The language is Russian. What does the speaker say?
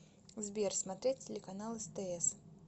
сбер смотреть телеканал стс